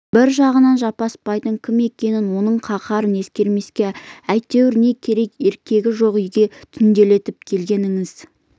бір жағынан жаппасбайдың кім екенін оның қаһарын ескермеске әйтеуір не керек еркегі жоқ үйге түнделетіп келгеніңіз